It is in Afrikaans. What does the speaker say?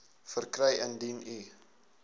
verkry indien u